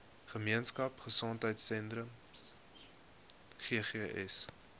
gemeenskap gesondheidsentrum ggs